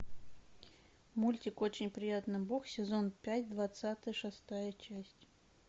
мультик очень приятно бог сезон пять двадцать шестая часть